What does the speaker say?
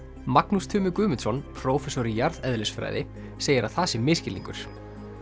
Magnús Tumi Guðmundsson prófessor í jarðeðlisfræði segir að það sé misskilningur